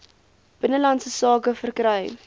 binnelandse sake verkry